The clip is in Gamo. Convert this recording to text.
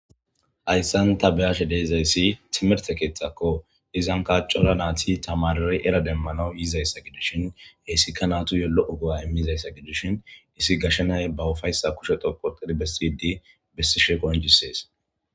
hayssan ta beyashe deezayssi timirte keeththakko izan kaacola naati tamarry era demmanawu yiizayssa gidishin heessika naatu yo lo7o go7a immizayssa gidishin isi gashenay ba ufayssa kusheto potedi bessiydi bessishe qonjisees